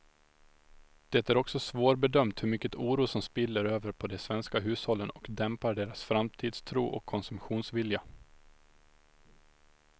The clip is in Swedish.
Det är också svårbedömt hur mycket oro som spiller över på de svenska hushållen och dämpar deras framtidstro och konsumtionsvilja.